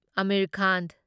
Aamir Khan